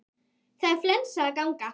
Það er flensa að ganga.